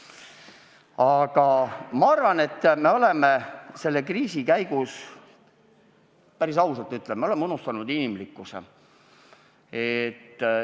Aga ma arvan, et me oleme selle kriisi käigus – päris ausalt ütlen – unustanud inimlikkuse.